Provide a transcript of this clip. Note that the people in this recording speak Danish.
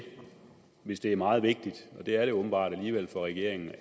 hvis det er meget vigtigt og det er det åbenbart alligevel for regeringen